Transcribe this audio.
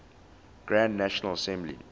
grand national assembly